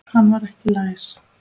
Hann var ekki læs.